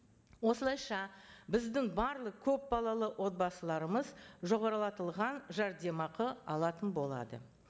осылайша біздің барлық көпбалалы отбасыларымыз жоғарлатылған жәрдемақы алатын болады